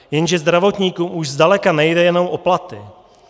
Jenže zdravotníkům už zdaleka nejde jenom o platy.